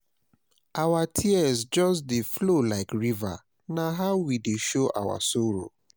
Our tears just dey flow like river, na how we dey show our sorrow.